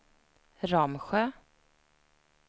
Ramsjö